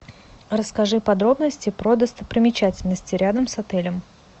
расскажи подробности про достопримечательности рядом с отелем